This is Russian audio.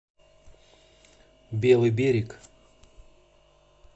белый берег